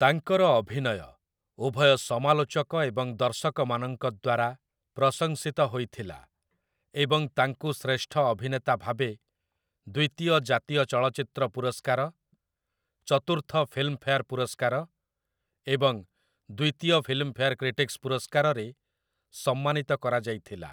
ତାଙ୍କର ଅଭିନୟ ଉଭୟ ସମାଲୋଚକ ଏବଂ ଦର୍ଶକମାନଙ୍କ ଦ୍ୱାରା ପ୍ରଶଂସିତ ହୋଇଥିଲା, ଏବଂ ତାଙ୍କୁ ଶ୍ରେଷ୍ଠ ଅଭିନେତା ଭାବେ ଦ୍ୱିତୀୟ ଜାତୀୟ ଚଳଚ୍ଚିତ୍ର ପୁରସ୍କାର, ଚତୁର୍ଥ ଫିଲ୍ମଫେୟାର୍ ପୁରସ୍କାର ଏବଂ ଦ୍ୱିତୀୟ ଫିଲ୍ମଫେୟାର କ୍ରିଟିକ୍‌ସ ପୁରସ୍କାରରେ ସମ୍ମାନିତ କରାଯାଇଥିଲା ।